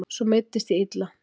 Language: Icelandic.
Svo meiddist ég illa.